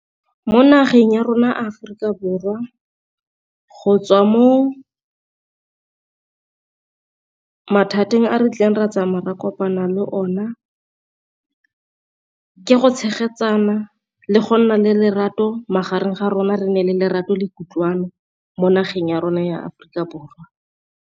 Mo nageng ya rona Aforika Borwa go tswa mo mathateng a re tlileng ra tsamaya ra kopana le ona, ke go tshegetsana le go nna le lerato magareng ga rona re ne le lerato le kutlwano mo nageng ya rona ya Aforika Borwa.